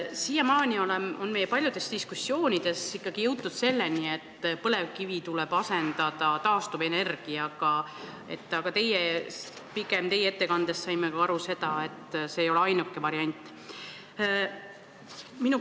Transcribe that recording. Siiamaani on paljudes diskussioonides ikkagi jõutud selleni, et põlevkivi tuleb asendada taastuvenergiaga, aga teie ettekandest saime pigem aru, et see ei ole ainuke variant.